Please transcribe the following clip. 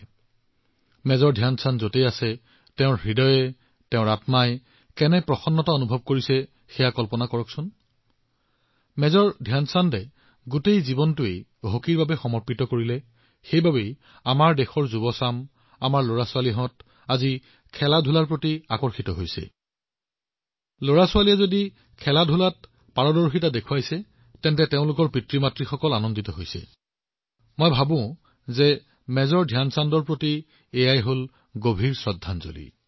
আপুনি কল্পনা কৰিব পাৰে যে মেজৰ ধ্যান চাঁদজীৰ হৃদয় তেওঁৰ আত্মা কিমান প্ৰসন্ন হব আৰু ধ্যান চাঁদজীৰ গোটেই জীৱন ক্ৰীড়াৰ প্ৰতি সমৰ্পিত আছিল আৰু সেয়েহে আজি যেতিয়া আমি দেশৰ যুৱসকলৰ মাজত আমাৰ পুত্ৰকন্যাসকলৰ ক্ৰীড়াৰ প্ৰতি আকৰ্ষণ দেখিবলৈ পাওঁ যদি শিশুৱে খেলত আগবাঢ়ি গৈ আছে তেন্তে অভিভাৱকসকলো সুখী এই যি দৃশ্য দেখা পোৱা গৈছে মই ভাবো সেয়াই মেজৰ ধ্যান চাঁদজীৰ প্ৰতি এক ডাঙৰ শ্ৰদ্ধাঞ্জলি